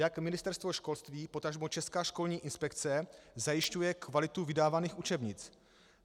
Jak Ministerstvo školství, potažmo Česká školní inspekce zajišťuje kvalitu vydávaných učebnic?